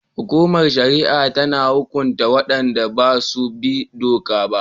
Hukumar shari'a tana hukunta wadanda ba su bi doka ba